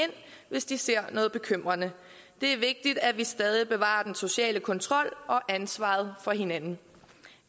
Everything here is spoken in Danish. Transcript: hvis de ser noget bekymrende det er vigtigt at vi stadig bevarer den sociale kontrol og ansvaret for hinanden